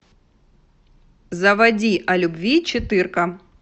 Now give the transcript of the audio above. заводи о любви четырка